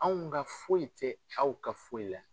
Anw ka foyi tɛ aw ka foyi la.